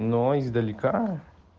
но издалека